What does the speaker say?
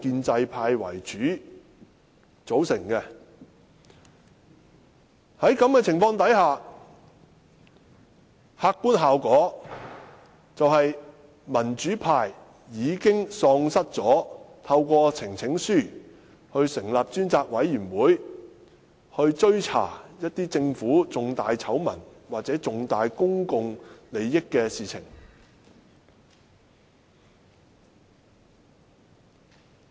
在這種情況下，客觀效果便是民主派已經喪失機會，透過提交呈請書成立專責委員會，追查政府重大醜聞或關乎重大公共利益的事情。